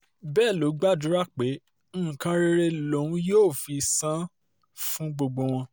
um bẹ́ẹ̀ ló gbàdúrà pé nǹkan rere lòun yóò fi san um án fún gbogbo wọn